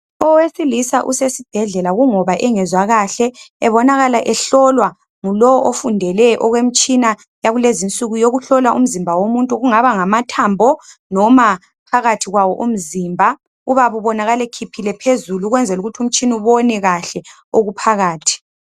Owesilisa usesibhedlela kungoba engezwa kahle ebonakala ehlolwa ngulowo ofundele okwemitshina yakulezi nsuku yokuhlola umzimba womuntu kungaba ngama thambo noma phakathi kwawo umzimba ubaba ubonakala ekhiphile phezulu ukwenzela ukuthi umtshina ubone kahle okuphakathi.